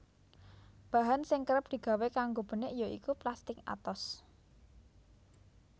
Bahan sing kerep digawé kanggo benik ya iku plastik atos